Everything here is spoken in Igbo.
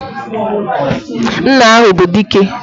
Nna ahụ bụ Dike!